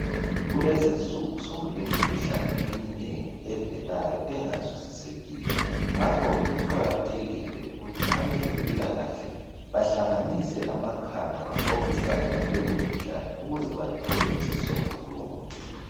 kulezi insuku sokule mikhuhlane eminengi evelayo engazwisisekiyo ngakho kuqhakathekile ukuthi abezempilakahle bahlanganise amakhanda baxoxisane ngaleyo mkhuhlane ukuze bathole isombululo